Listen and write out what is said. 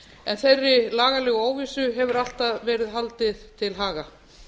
en þeirri lagalegu óvissu hefur alltaf verið haldið til haga